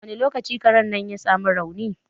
Wani lokaci Karen nan ya sa mu rauni?